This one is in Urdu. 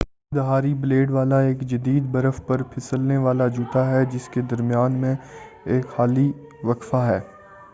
دو دھاری بلیڈ والا ایک جدید برف پر پہسلنے والا جوتا ہے جس کے درمیان میں ایک خالی وقفہ ہے